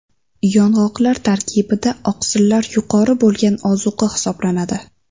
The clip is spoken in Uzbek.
Yong‘oqlar tarkibida oqsillar yuqori bo‘lgan ozuqa hisoblanadi.